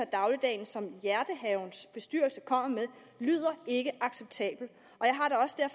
af dagligdagen som hjertehavens bestyrelse kommer med lyder ikke acceptable